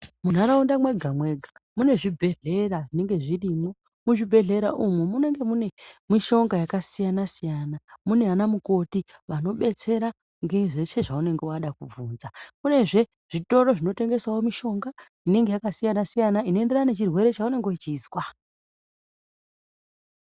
Munharaunda mwega mega mune zvibhedhlera zvinonga zvirimo muzvibhedhlera umu munonga mune mishonga yakasiyana siyana Muna ana mukoti vanobetsera ngezveshe zvaunenge wada kubvunza kunezve zvitoro zvinotengeshawo mishonga inenge yakasiyana siyana inoenderana nechirwere chaunenge uchizwa.